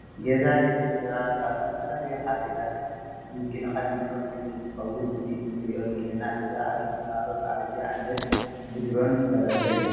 ገዛ ደቂ ሰባት ካብ ዝተፈላለዩ ሓደጋት ንምክልካል እንጥቀመሉ እትከውን እዚ እንሪኦ ዘለና ገዛ ኣብ ሸራሮ ብኣብይ ኣሕመድ ብድሮን ዝፈረሰ እዩ።